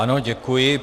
Ano, děkuji.